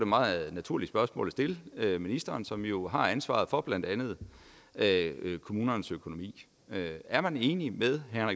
meget naturligt spørgsmål at stille ministeren som jo har ansvaret for blandt andet kommunernes økonomi er man enig med herre